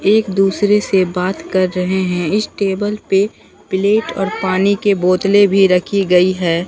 एक दूसरे से बात कर रहे हैं इस टेबल पे प्लेट और पानी के बोतले भी रखी गई है।